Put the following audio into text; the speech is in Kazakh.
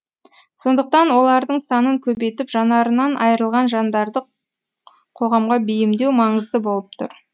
сондықтан олардың санын көбейтіп жанарынан айрылған жандарды қоғамға бейімдеу маңызды болып тұр